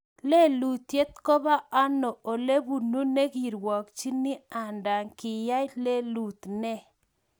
Lelutiet Kobo ano Olebunu nekerwokchin anda kiyai lelut ne?